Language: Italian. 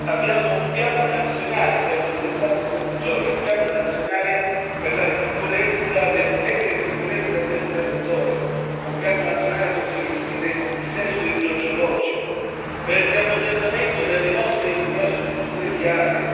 Abbiamo un piano nazionale stiamo presentando in questi giorni un piano nazionale per la messa in sicurezza del territorio, un piano nazionale contro i rischi del dissesto idrogeologico, per il riammodernamento delle nostre infrastrutture viarie.